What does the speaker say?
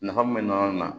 Nafa mun be na